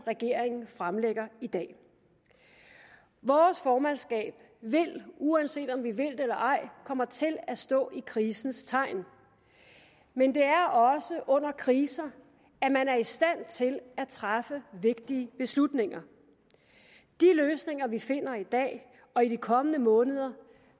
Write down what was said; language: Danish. regeringen fremlægger i dag vores formandskab vil uanset om vi vil det eller ej komme til at stå i krisens tegn men det er også under kriser at man er i stand til at træffe vigtige beslutninger de løsninger vi finder i dag og i de kommende måneder